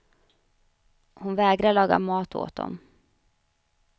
Hon vägrade laga mat åt dem.